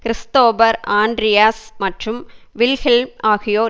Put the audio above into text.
Christopher Andreas மற்றும் Wilhelm ஆகியோர்